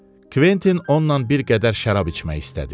Kventin onunla bir qədər şərab içmək istədi.